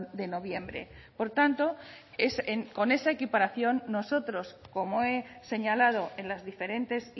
de noviembre por tanto con esa equiparación nosotros como he señalado en las diferentes